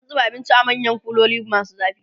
an zuba abinci a manyan kuloli masu zafi